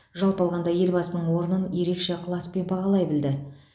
жалпы алғанда елбасының орнын ерекше ықыласпен бағалай білді